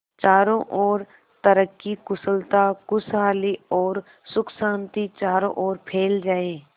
चारों और तरक्की कुशलता खुशहाली और सुख शांति चारों ओर फैल जाए